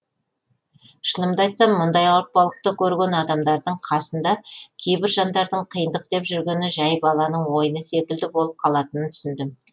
шынымды айтсам мұндай ауыртпалықты көрген адамдардың қасында кейбір жандардың қиындық деп жүргені жай баланың ойыны секілді болып қалатынын түсіндім